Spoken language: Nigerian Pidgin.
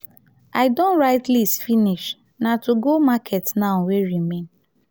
i don write list finish na to go market now wey remain.